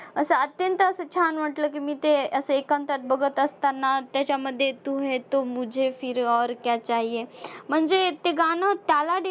असं अत्यंत असं छान वाटलं की मी ते असे एकांतात बघत असताना त्याच्यामध्ये तू है तो मुझे फिर और क्या चाहिये म्हणजे ते गाणं त्याला